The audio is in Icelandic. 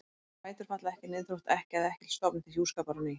Bætur falla ekki niður þótt ekkja eða ekkill stofni til hjúskapar á ný.